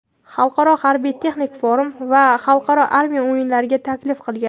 Xalqaro harbiy-texnik forum va Xalqaro armiya o‘yinlariga taklif qilgan.